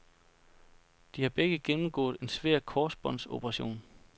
De har begge gennemgået en svær korsbåndsoperation.